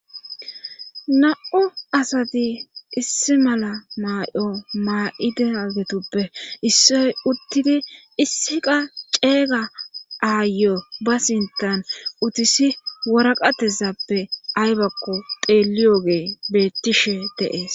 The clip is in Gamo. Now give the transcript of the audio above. na'u asati issi mala maay'o maa'ide agetuppe issoy uttidi issi qa ceega aayyo ba sintan utisi waraqatezappe aybakko teeliyoge bettishe dee'es